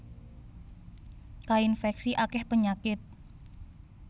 Kainfèksi akèh penyakit